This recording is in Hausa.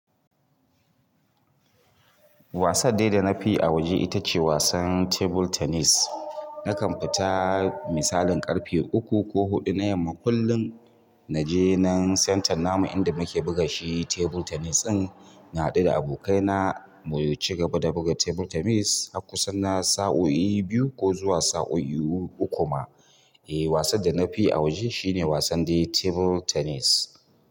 Wasan dai da na fi yi a waje ita ce wasan tebur tenis. Nakan fita misalin ƙarfe uku ko huɗu na yamma kullum. Naje nan santar namu inda muke buga shi tebur tenis ɗin. Na haɗu da abokaina mu ci gaba da buga tebur tenis har kusan na sa'o'i biyu ko zuwa sa'o'i uku ma. Eh, wasan da na fi a waje shine wasan dai tebur tenis.